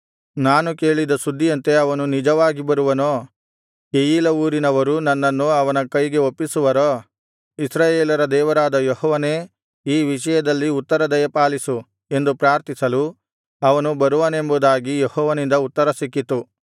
ನಾನು ಕೇಳಿದ ಸುದ್ದಿಯಂತೆ ಅವನು ನಿಜವಾಗಿ ಬರುವನೋ ಕೆಯೀಲಾ ಊರಿನವರು ನನ್ನನ್ನು ಅವನ ಕೈಗೆ ಒಪ್ಪಿಸುವರೋ ಇಸ್ರಾಯೇಲರ ದೇವರಾದ ಯೆಹೋವನೇ ಈ ವಿಷಯದಲ್ಲಿ ಉತ್ತರ ದಯಪಾಲಿಸು ಎಂದು ಪ್ರಾರ್ಥಿಸಲು ಅವನು ಬರುವನೆಂಬುದಾಗಿ ಯೆಹೋವನಿಂದ ಉತ್ತರ ಸಿಕ್ಕಿತು